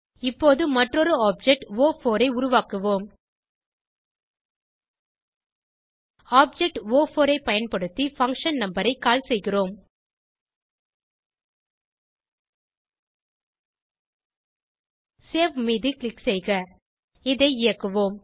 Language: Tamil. இப்போது மற்றொரு ஆப்ஜெக்ட் ஒ4 ஐ உருவாக்குவோம் ஆப்ஜெக்ட் ஒ4 ஐ பயன்படுத்தி பங்ஷன் நம்பர் ஐ கால் செய்கிறோம் சேவ் மீது க்ளிக் செய்க இதை இயக்குவோம்